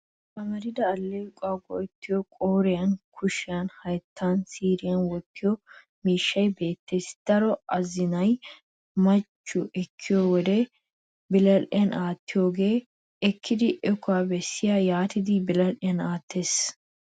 Amarida alleequwawu go'ettiyo qooriyan kushiyan hayttaninne siiriyan wottiyo miishshay beettes. Daro azinay machchiyo ekkiyo wode biradhdhiyan aattiyoogaa ekkidi iikko besi yaatidi biradhdhiyan aattes.